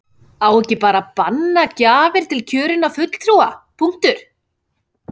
Á ekki bara að banna gjafir til kjörinna fulltrúa, punktur?